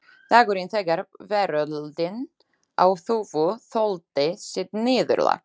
Dagurinn þegar veröldin á Þúfu þoldi sitt niðurlag.